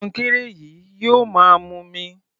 Kọnkéré yìí yóò máa mumi.